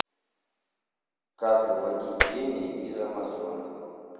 как выводить деньги из амазон